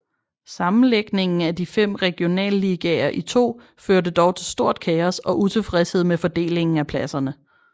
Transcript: Sammenlægningen af de fem regionalligaer i to førte dog til stort kaos og utilfredshed med fordelingen af pladserne